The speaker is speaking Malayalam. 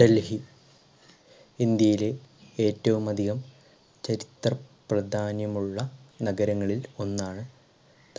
ഡൽഹി ഇന്ത്യയിലെ ഏറ്റവും അധികം ചരിത്രപ്രാധാന്യം ഉള്ള നഗരങ്ങളിൽ ഒന്നാണ്